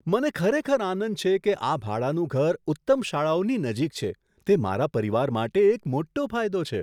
મને ખરેખર આનંદ છે કે આ ભાડાનું ઘર ઉત્તમ શાળાઓની નજીક છે. તે મારા પરિવાર માટે એક મોટો ફાયદો છે.